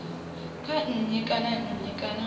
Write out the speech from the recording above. kha nnyi kana nnyi kana